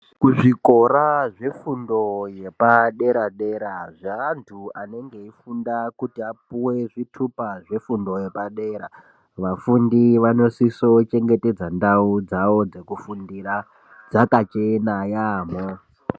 Zvikora zvefundo yepadera-dera zveantu anenge eifunda kuti apuwe zvitupa zvefundo yepadera vafundi vanosiso kuchengetedza ndau dzawo dzekufundira dzakachena yampho.